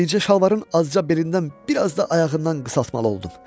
Bircə şalvarın azca belindən, bir az da ayağından qısaltmalı oldum.